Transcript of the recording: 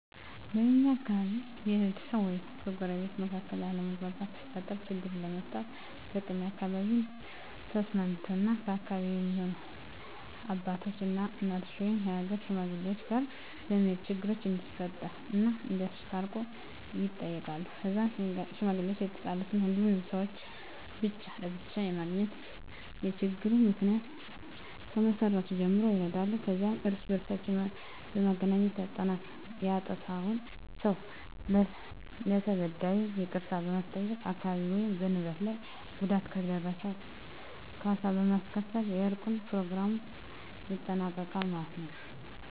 በእኛ አካባቢ በቤተሰብ ወይም በጎረቤቶች መካከል አለመግባባት ሲፈጠር ችግሩን ለመፍታት በቅድሚያ በአካባቢው ተሰሚነትና ተከባሪ የሆኑ አባቶች እና እናቶች ወይም የሀገር ሽማግሌወች ጋር በመሄድ ችግሩ እንደተፈጠረ እና እንዲያስታርቁ ይጠየቃሉ ከዛም ሽማግሌወች የተጣሉትን ሁሉንም ሰውች ብቻ ለብቻ በማግኘት የችግሩን ምክንያ ከመሰረቱ ጀምሮ ይረዳሉ ከዛም እርስ በእርስ በማገናኘት ያጠፍውን ሰው ለተበዳዩ ይቅርታ በማስጠየቅ በአካል ወይም በንብረት ላይ ጉዳት ከደረሰ ካሳ በማስከፈል የእርቁን በኘሮግራሙ ይጠናቀቃል ማለት የው።